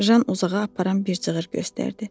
Jan uzağa aparan bir cığır göstərdi.